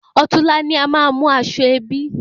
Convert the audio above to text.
Òtún la ni a má mú aṣọ ẹbí